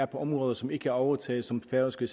på områder som ikke er overtaget som færøske